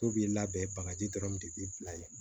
So b'i labɛn bagaji dɔrɔn de bi bila yen